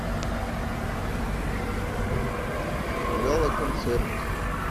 гала концерт